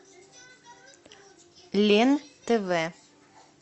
лен тв